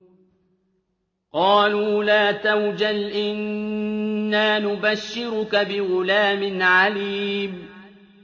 قَالُوا لَا تَوْجَلْ إِنَّا نُبَشِّرُكَ بِغُلَامٍ عَلِيمٍ